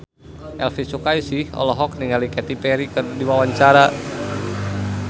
Elvy Sukaesih olohok ningali Katy Perry keur diwawancara